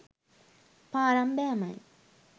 පාරම් බෑමයි.